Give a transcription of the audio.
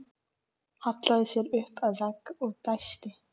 Hallaði sér upp að vegg og dæsti.